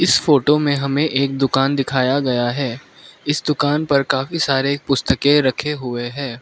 इस फोटो में हमें एक दुकान दिखाया गया है इस दुकान पर काफी सारे पुस्तकें रखे हुए है।